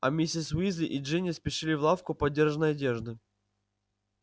а миссис уизли и джинни спешили в лавку подержанной одежды